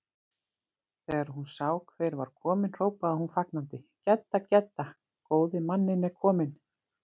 Þegar hún sá hver var kominn hrópaði hún fagnandi: Gedda, Gedda, góði manninn er kominn